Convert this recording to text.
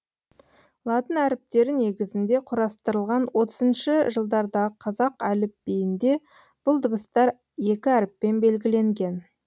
латын әріптері негізінде құрастырылған отызыншы жылдардағы қазақ әліпбиінде бұл дыбыстар екі әріппен белгіленген